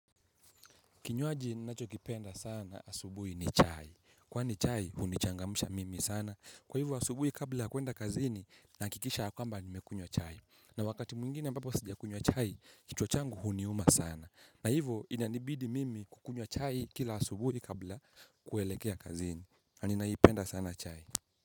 Kinywaji ninacho kipenda sana asubuhi ni chai. Kwani chai hunichangamsha mimi sana. Kwa hivyo asubuhi kabla ya kuenda kazini, nahakikisha ya kwamba nimekunywa chai. Na wakati mwingine ambapo sijakunywa chai, kichwa changu huniuma sana. Na hivyo inanibidi mimi kukunywa chai kila asubuhi kabla kuelekea kazini. Ninaipenda sana chai.